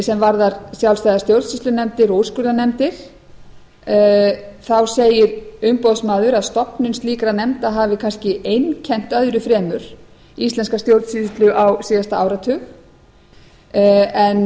sem varðar sjálfstæðar stjórnsýslunefndir og úrskurðarnefndir segir umboðsmaður að stofnun slíkra nefnda hafi kannski einkennt öðru fremur íslenska stjórnsýslu á síðasta áratug en það sem